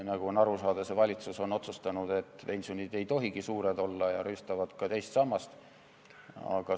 Nagu on aru saada, see valitsus on otsustanud, et pensionid ei tohigi suured olla, ja nad rüüstavad ka teist sammast.